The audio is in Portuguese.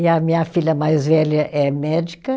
E a minha filha mais velha é médica.